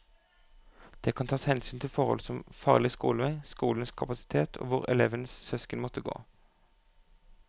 Det kan tas hensyn til forhold som farlig skolevei, skolenes kapasitet og hvor elevens søsken måtte gå.